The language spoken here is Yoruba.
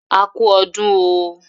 A kú ọdún oooo